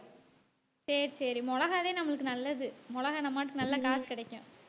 சரி சரி மிளகாய் வே நம்மளுக்கு நல்லது மிளகாய் நம்ம பாட்டுக்கு நல்ல காசு கிடைக்கும்.